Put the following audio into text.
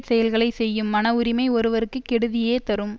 செயல்களை செய்யும் மனஉரிமை ஒருவருக்கு கெடுதியே தரும்